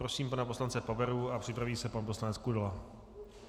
Prosím pana poslance Paveru a připraví se pan poslanec Kudela.